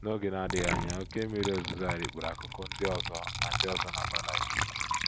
N’oge na - adịghị anya, oké mmiri ozuzo a rikpuru akụkụ ndị ọzọ na ndị ọzọ na Valais.